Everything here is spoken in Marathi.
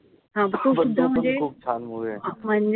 तो पण खूप छान movie आहे.